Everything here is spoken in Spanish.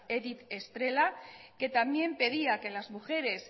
edith estrela que también pedía que las mujeres